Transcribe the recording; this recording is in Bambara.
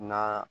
Na